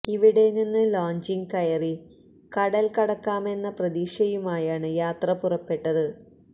ഇവിടെ നിന്ന് ലോഞ്ചില് കയറി കടല് കടക്കാമെന്ന പ്രതീക്ഷയുമായാണ് യാത്ര പുറപ്പെട്ടത്